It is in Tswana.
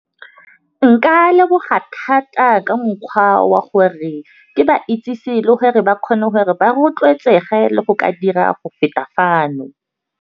Nka leboga thata ka mokgwa wa gore, ke ba itsese le gore ba kgone gore ba rotloetsege le go ka dira go feta fano.